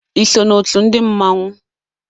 Ịso na ọtu ndi mmanwu?